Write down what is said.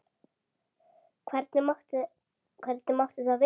Hvernig mátti það vera?